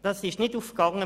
Das ist nicht gelungen.